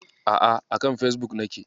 A'a, a kan Fesbuk nake.